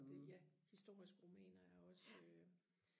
det ja historiske romaner er også øh